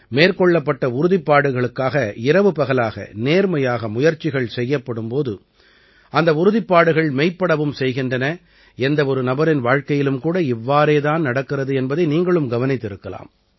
மேற்கொள்ளப்பட்ட உறுதிப்பாடுகளுக்காக இரவுபகலாக நேர்மையாக முயற்சிகள் செய்யப்படும் போது அந்த உறுதிப்பாடுகள் மெய்ப்படவும் செய்கின்றன எந்த ஒரு நபரின் வாழ்க்கையிலும் கூட இவ்வாறே தான் நடக்கிறது என்பதை நீங்களும் கவனித்திருக்கலாம்